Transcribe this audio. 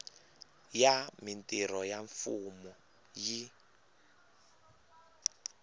ya mintirho ya mfumo yi